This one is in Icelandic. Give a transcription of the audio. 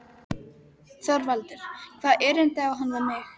ÞORVALDUR: Hvaða erindi á hann við mig?